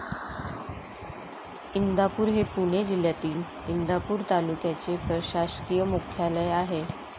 इंदापूर हे पुणे जिल्ह्यातील, इंदापूर तालुक्याचे प्रशासकीय मुख्यालय आहे.